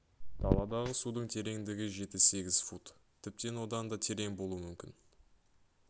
даладағы судың тереңдігі жеті сегіз фут тіптен одан да терең болуы мүмкін